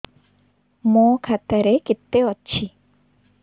ମୋ ଖାତା ରେ କେତେ ଅଛି